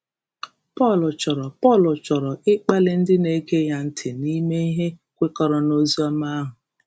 Pọl chọrọ Pọl chọrọ ịkpali ndị na-ege ya ntị ime ihe kwekọrọ n’oziọma ahụ.